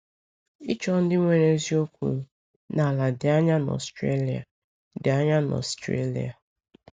Ịchọ Ndị Nwere Ezi Okwu n’ala dị anya n’Australia dị anya n’Australia